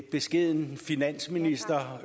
beskeden finansminister